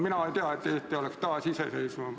Mina ei tea, et Eesti oleks taasiseseisvunud.